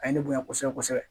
A ye ne bonya kosɛbɛ kosɛbɛ